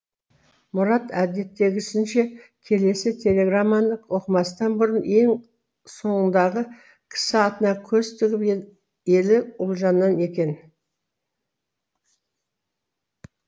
мұрат әдеттегісінше келесі телеграмманы оқымастан бұрын ен соңындағы кісі атына көз тігіп елі ұлжаннан екен